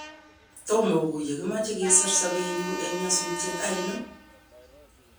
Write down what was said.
Tomo oguye kimoche kosor sobenyun eng nyosutyet ainon?